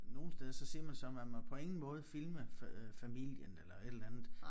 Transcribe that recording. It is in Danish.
Nogle steder så siger man så man må på ingen måde filme fa øh familien eller et eller andet